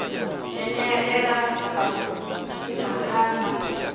dzhenelela ha vhukuma kha masia